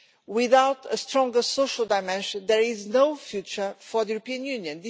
Without a stronger social dimension, there is no future for the European Union.